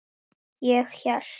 Ég hélt.